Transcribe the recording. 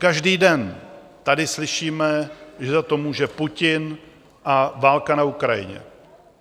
Každý den tady slyšíme, že za to může Putin a válka na Ukrajině.